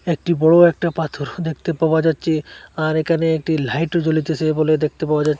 একটি বড় একটা পাথর দেখতে পাওয়া যাচ্চে আর এখানে একটি লাইঠও জ্বলিতেসে বলে দেখতে পাওয়া যা--